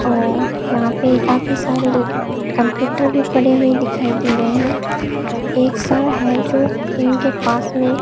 और यहां पे काफी सारे कंप्यूटर भी पड़े हुए दिखाई दे रहे हैं एक सा है जो उनके पास में --